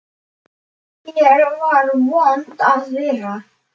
Hér var vont að vera.